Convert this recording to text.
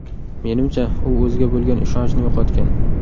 Menimcha, u o‘ziga bo‘lgan ishonchni yo‘qotgan.